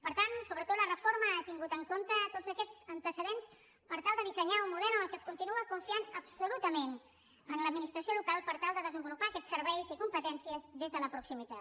per tant sobretot la reforma ha tingut en compte tots aquests antecedents per tal de dissenyar un model en el qual es continua confiant absolutament en l’administració local per tal de desenvolupar aquests serveis i competències des de la proximitat